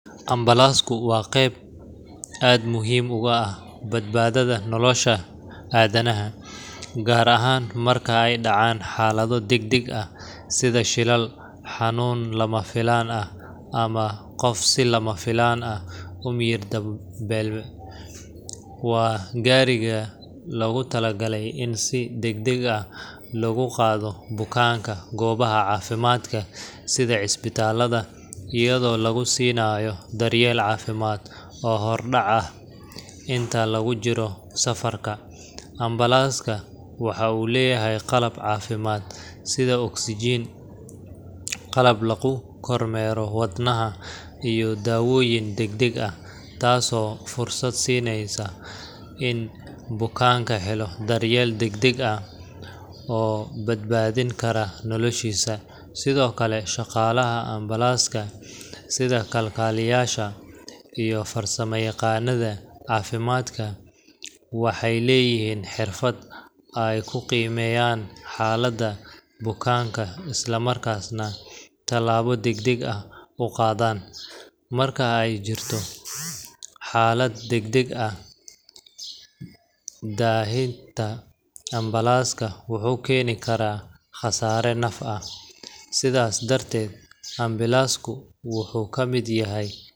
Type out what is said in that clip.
Ambalaasku waa qeyb aad muhiim ugu ah badbaadada nolosha aadanaha, gaar ahaan marka ay dhacaan xaalado degdeg ah sida shilal, xanuun lama filaan ah, ama qof si lama filaan ah u miyir beela. Waa gaariga loogu talagalay in si degdeg ah loogu qaado bukaanka goobaha caafimaadka sida isbitaalada, iyadoo lagu siinayo daryeel caafimaad oo hordhac ah inta lagu jiro safarka. Ambalaaska waxa uu leeyahay qalab caafimaad sida oksijiin, qalab lagu kormeero wadnaha, iyo dawooyin degdeg ah, taasoo fursad siinaysa in bukaanku helo daryeel degdeg ah oo badbaadin kara noloshiisa. Sidoo kale, shaqaalaha ambalaaska sida kalkaaliyayaasha iyo farsamayaqaannada caafimaadka waxay leeyihiin xirfad ay ku qiimeeyaan xaaladda bukaanka isla markaasna tallaabo degdeg ah u qaadaan. Marka ay jirto xaalad degdeg ah, daahitaanka ambalaaska wuxuu keeni karaa khasaare naf ah. Sidaas darteed, ambalaasku wuxuu ka mid yahay.